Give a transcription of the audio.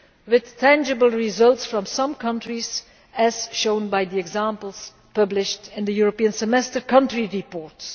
with tangible results from some countries, as shown by the examples published in the European Semester country reports.